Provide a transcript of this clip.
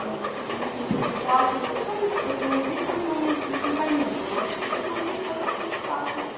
а вот мы с ним прям так классно пообщались поэтому вечером то у меня депресняка не было а вот сегодня как-то вот так вот